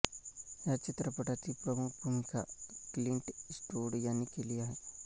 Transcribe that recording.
या चित्रपटातील प्रमुख भूमिका क्लिंट इस्टवूड यांनी केली आहे